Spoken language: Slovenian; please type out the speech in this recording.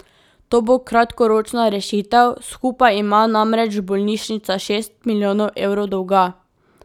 To bo kratkoročna rešitev, skupaj ima namreč bolnišnica šest milijonov evrov dolga.